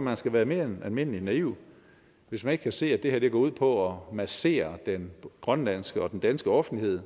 man skal være mere end almindeligt naiv hvis man ikke kan se at det her går ud på at massere den grønlandske og den danske offentlighed